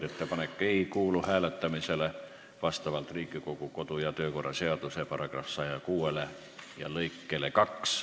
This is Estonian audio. Ettepanek ei kuulu vastavalt Riigikogu kodu- ja töökorra seaduse § 106 lõikele 2 hääletamisele.